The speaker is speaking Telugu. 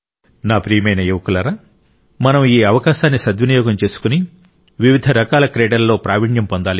నా ప్రియమైన యువకులారా మనం ఈ అవకాశాన్ని సద్వినియోగం చేసుకొని వివిధ రకాల క్రీడలలో ప్రావీణ్యం పొందాలి